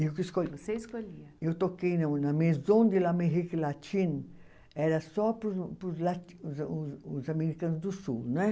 Eu que escolhia você escolhia eu toquei no na Maison de la Mérique Latine, era só para os os os americanos do sul né.